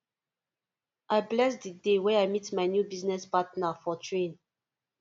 i bless the day wey i meet my new business partner for train